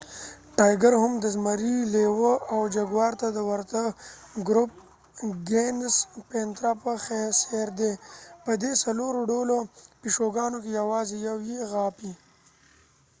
ټایګر هم د زمري، لیوه او جګوار ته د ورته ګروپ ګینس پنترا په څیر دي. په دې څلور ډوله پیشوګانو کې یوازې یو یې غاپي